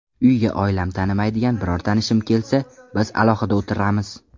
Uyga oilam tanimaydigan biror tanishim kelsa, biz alohida o‘tiramiz.